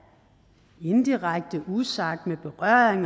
indirekte usagt med berøring